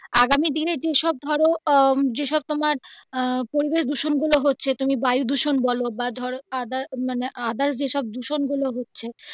আগামী দিনে যে সব ধরো আহ যে সব তোমার আহ পরিবেশ দূষণ গুলো হচ্ছে তুমি বায়ু দূষণ বলো বা ধরো মানে other যে সব দূষণ গুলো হচ্ছে.